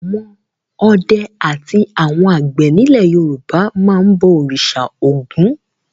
Àwọn ọdẹ àti àwọn àgbẹ̀ nílẹ̀ Yorùbá máa ń bọ òrìṣà Ògún.